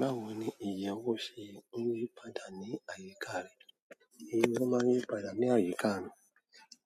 Báwo ni ìyẹ̀ owo ṣe ń yípadà ní àyíká rẹ̀? Ìyẹ̀ owo máa ń yípadà ní àyíká mi